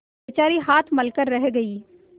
बेचारी हाथ मल कर रह गयी